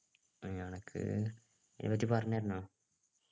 ഏർ അനക്ക് ഇതിനെപ്പറ്റി പറഞ്ഞു തരണോ